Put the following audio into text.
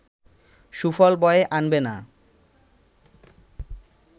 সুফল বয়ে আনবে না